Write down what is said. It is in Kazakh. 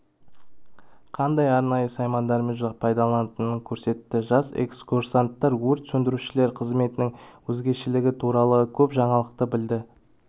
қандай арнайы саймандармен пайдаланатынын көрсетті жас экскурсанттар өрт сөндірушілер қызметінің өзгешілігі туралы көп жаңалықты білді